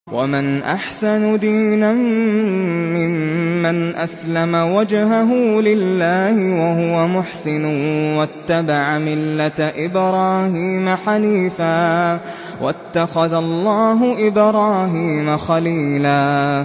وَمَنْ أَحْسَنُ دِينًا مِّمَّنْ أَسْلَمَ وَجْهَهُ لِلَّهِ وَهُوَ مُحْسِنٌ وَاتَّبَعَ مِلَّةَ إِبْرَاهِيمَ حَنِيفًا ۗ وَاتَّخَذَ اللَّهُ إِبْرَاهِيمَ خَلِيلًا